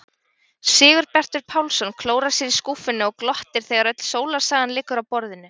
Sigurbjartur Pálsson klórar sér í skúffunni og glottir þegar öll sólarsagan liggur á borðinu.